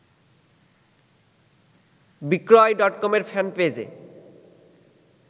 বিক্রয় ডটকমের ফ্যানপেইজে